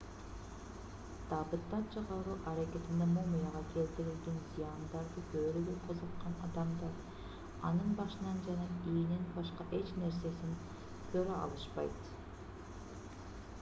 табыттан чыгаруу аракетинде мумияга келтирилген зыяндарды көрүүгө кызыккан адамдар анын башынан жана ийинен башка эч нерсесин көрө алышпайт